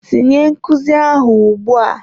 Tinye nkuzi ahụ ugbu a!